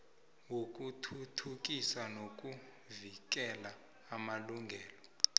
yokuthuthukisa nokuvikela amalungelo